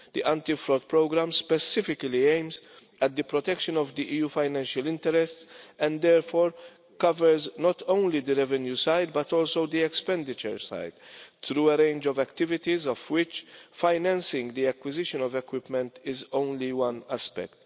The Anti Fraud Programme specifically aims at the protection of the EU financial interests and therefore covers not only the revenue side, but also the expenditure side through a range of activities, of which financing the acquisition of equipment is only one aspect.